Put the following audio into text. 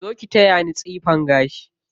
Zo ki taya ni tsifan gashi.